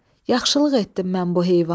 Yaxşılıq etdim mən bu heyvana.